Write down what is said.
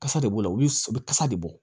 Kasa de bɔ la olu bɛ kasa de bɔ